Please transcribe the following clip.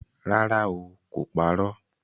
Rárá o, kò parọ́